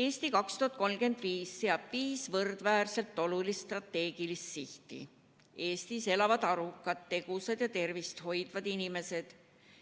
"Eesti 2035" seab viis võrdväärselt olulist strateegilist sihti: 1) Eestis elavad arukad, tegusad ja tervist hoidvad inimesed;